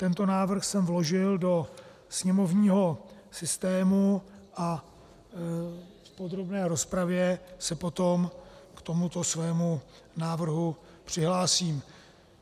Tento návrh jsem vložil do sněmovního systému a v podrobné rozpravě se potom k tomuto svému návrhu přihlásím.